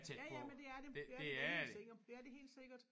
Ja ja men det er det det er det da helt sikkert det er det helt sikkert